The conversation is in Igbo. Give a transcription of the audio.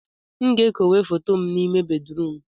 m ga-ekowe foto a n'ime bedrum